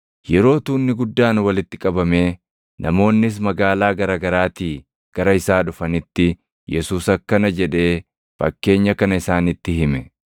Yeroo tuunni guddaan walitti qabamee namoonnis magaalaa gara garaatii gara isaa dhufanitti Yesuus akkana jedhee fakkeenya kana isaanitti hime: